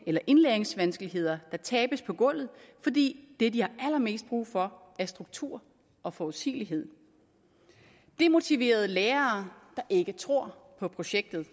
eller indlæringsvanskeligheder der tabes på gulvet fordi det de har allermest brug for er struktur og forudsigelighed demotiverede lærere der ikke tror på projektet